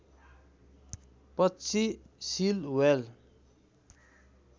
पक्षी seal whale